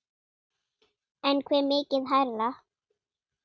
En hve mikið hærra?